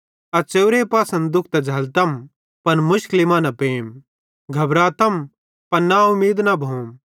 अस च़ेव्रे पासना दुःख त झ़ल्लतम पन मुशकली मां न पेम घबरातम पन ना उमीद न भोम